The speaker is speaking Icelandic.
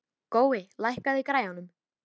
Gói, lækkaðu í græjunum.